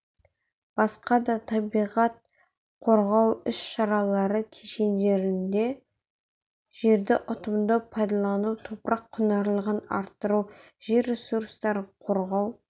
басқа да табиғат қорғау іс-шаралары кешенінде жерді ұтымды пайдалану топырақ құнарлылығын арттыру жер ресурстарын қорғау